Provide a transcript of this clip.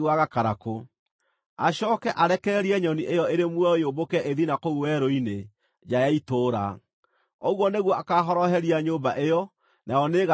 Acooke arekererie nyoni ĩyo ĩrĩ muoyo yũmbũke ĩthiĩ na kũu werũ-inĩ, nja ya itũũra. Ũguo nĩguo akaahoroheria nyũmba ĩyo, nayo nĩĩgathirwo nĩ thaahu.”